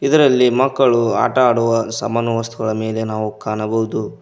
ಇದರಲ್ಲಿ ಮಕ್ಕಳು ಆಟ ಆಡುವ ಸಾಮಾನೂ ವಸ್ತುಗಳ ಮೇಲೆ ನಾವು ಕಾಣಬಹುದು.